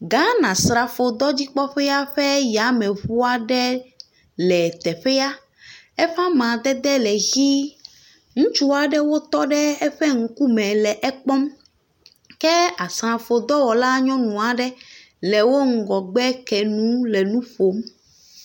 Nyɔnua le wo va me. Ele nu ɖum. Wo le bu ɖum. Eɖo nukomo. Nu vovovowo ƒo xlɛ le ava me. Avame nya kpɔ ŋutɔ. Wotsi gatsi vovovowo glia ŋu. amadede whiti le avɔ me.